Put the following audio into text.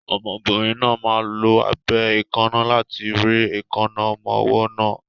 Obìnrin náà máa lo abẹ èékánná láti rẹ́ èékánná ọmọ ọwọ́ náà.